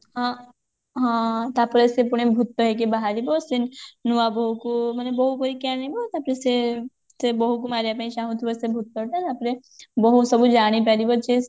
ହଁ ହଁ ତାପରେ ସେ ପୁଣି ଭୁତ ହେଇକି ବାହାରିବ ସେ ନୂଆବୋହୂକୁ ମାନେ ବୋହୁ କରିକି ଆଣିବ ତାପରେ ସେ ସେ ବୋହୁକୁ ମାରିବା ପାଇଁ ଚାହୁଁଥିବ ସେ ଭୁତଟା ତାପରେ ବହୁ ସବୁ ଜାଣିପାରିବ ଯେ